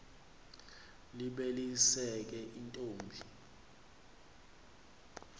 libe lizeke intombi